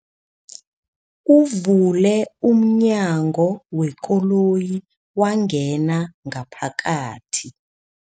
Uvule umnyango wekoloyi wangena ngaphakathi.